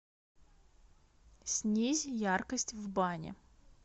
снизь яркость в бане